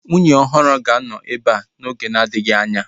Nwunye ọhụrụ ahu ga-anọ ebea oge na-adịghị anya